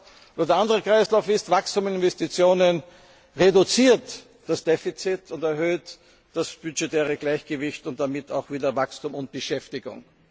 Und der andere Kreislauf ist Wachstum und Investitionen, er reduziert das Defizit und erhöht das budgetäre Gleichgewicht und damit auch wieder Wachstum und Beschäftigung.